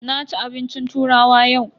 Na ci abincin turawa yau.